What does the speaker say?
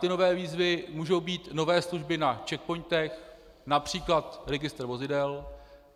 Ty nové výzvy mohou být nové služby na czechpointech, například registr vozidel.